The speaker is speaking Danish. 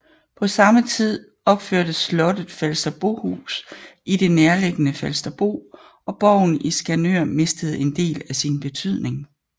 På samme tid opførtes slottet Falsterbohus i det nærliggende Falsterbo og borgen i Skanør mistede en del af sin betydning